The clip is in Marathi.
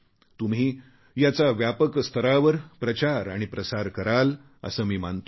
तुम्ही याचा व्यापक स्तरावर प्रचार आणि प्रसार कराल असे मी मानतो